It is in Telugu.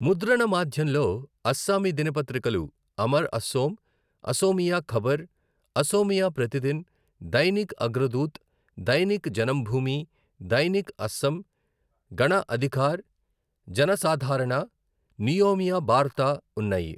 ముద్రణమాధ్యంలో అస్సామీ దినపత్రికలు అమర్ అసోం, అసోమియా ఖబర్, అసోమియా ప్రతిదిన్, దైనిక్ అగ్రదూత్, దైనిక్ జనంభూమి, దైనిక్ అసమ్, గణ అధికార్, జనసాధారణ, నియోమియా బార్తా ఉన్నాయి.